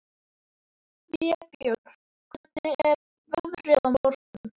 Vébjörn, hvernig er veðrið á morgun?